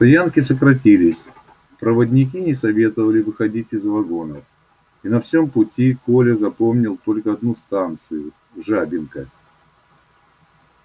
стоянки сократились проводники не советовали выходить из вагонов и на всём пути коля запомнил только одну станцию жабинка